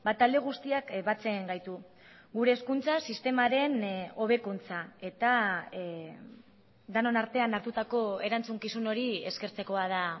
talde guztiak batzen gaitu gure hezkuntza sistemaren hobekuntza eta denon artean hartutako erantzukizun hori eskertzekoa da